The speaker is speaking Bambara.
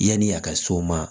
Yanni a ka s'o ma